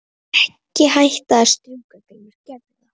Ekki hætta að strjúka Grímur gerðu það.